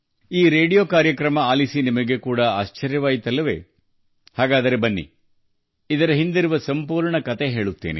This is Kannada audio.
ಈ ರೇಡಿಯೊ ಕಾರ್ಯಕ್ರಮವನ್ನು ಕೇಳಿ ನಿಮಗೂ ಆಶ್ಚರ್ಯವಾಗಬಹುದು ಅಲ್ಲವೇ ಹಾಗಾದರೆ ಬನ್ನಿ ಅದರ ಹಿಂದಿನ ಕಥೆಯನ್ನು ನಾನು ನಿಮಗೆ ಹೇಳುತ್ತೇನೆ